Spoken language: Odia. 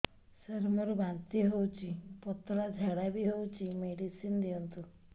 ସାର ମୋର ବାନ୍ତି ହଉଚି ପତଲା ଝାଡା ବି ହଉଚି ମେଡିସିନ ଦିଅନ୍ତୁ